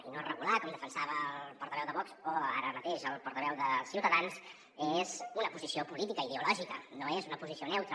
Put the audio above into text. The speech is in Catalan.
i no regular com defensava el portaveu de vox o ara mateix el portaveu de ciutadans és una posició política ideològica no és una posició neutra